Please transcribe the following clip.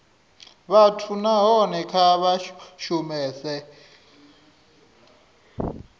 vhathu nahone kha vha shumese